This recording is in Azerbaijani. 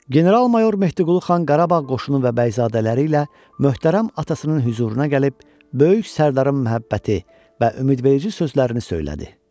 General-mayor Mehdiqulu xan Qarabağ qoşunu və bəyzadələri ilə möhtərəm atasının hüzuruna gəlib, böyük sərdarın məhəbbəti və ümidverici sözlərini söylədi.